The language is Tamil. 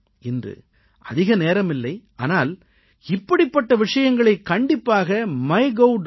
இன்று அதிக நேரமில்லை ஆனால் இப்படிப்பட்ட விஷயங்களைக் கண்டிப்பாக MyGov